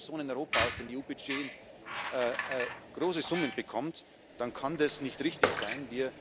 Wenn eine Person in Europa aus dem EU Budget große Summen bekommt, dann kann das nicht richtig sein.